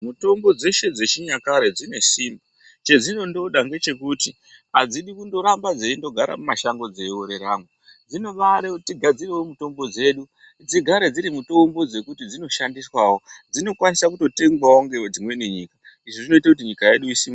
Mitombo dzese dzechinyakare dzine simba chedzinondoda ndechekuti adzidi kungoramba dzeindogara mumashango dzeingooreramo dzinobade kuti tigadzire mitombo dzedu dzigare dzirimitombo dzekuti dzonoshandiswawo dzinokwanisa kutengwawo nedzimweni nyika izvo zvinoitawo kuti nyika yedu isimukire .